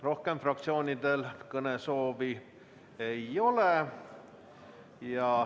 Rohkem fraktsioonidel kõnesoovi ei ole.